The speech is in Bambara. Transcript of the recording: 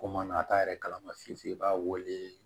Ko mana taa yɛrɛ kalama fiye fiye i b'a weele